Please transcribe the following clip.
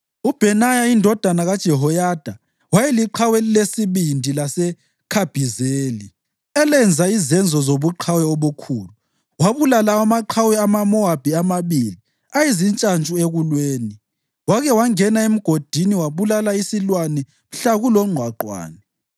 UBhenaya indodana kaJehoyada wayeliqhawe elilesibindi laseKhabhizeli, elenza izenzo zobuqhawe obukhulu. Wabulala amaqhawe amaMowabi amabili ayezintshantshu ekulweni. Wake wangena emgodini wabulala isilwane mhla kulongqwaqwane.